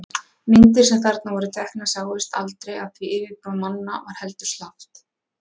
Myndir sem þarna voru teknar sáust aldrei af því yfirbragð manna var heldur slappt.